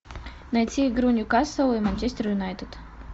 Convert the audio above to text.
найти игру ньюкасл и манчестер юнайтед